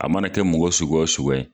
A mana kɛ mɔgɔ suguya o suguya ye.